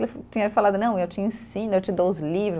tinha falado, não, eu te ensino, eu te dou os livro.